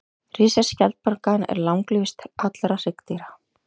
Risaskjaldbakan er langlífust allra hryggdýra.